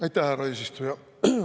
Aitäh, härra eesistuja!